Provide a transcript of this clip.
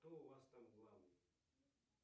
кто у вас там главный